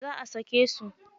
Za a sake su.